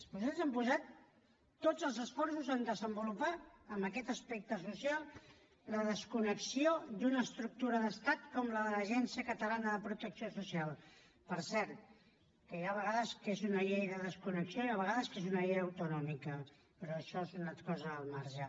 vostès han posat tots els esforços en desenvolupar en aquest aspecte social la desconnexió d’una estructura d’estat com la de l’agència catalana de protecció social per cert que hi ha vegades que és una llei de desconnexió i hi ha vegades que és una llei autonòmica però això és una cosa al marge